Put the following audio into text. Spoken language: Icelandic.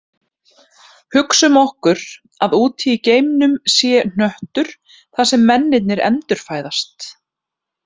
Hugsum okkur að úti í geimnum sé hnöttur þar sem mennirnir endurfæðast